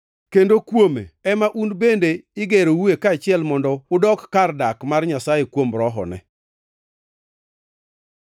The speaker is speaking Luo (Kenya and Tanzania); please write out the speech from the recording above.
Kendo kuome ema un bende igeroue kaachiel mondo udok kar dak mar Nyasaye kuom Rohone.